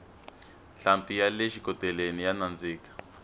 nhlampfi yale xikoteleni ya nandzika